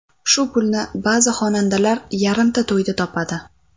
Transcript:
Shu pulni ba’zi xonandalar yarimta to‘yda topadi.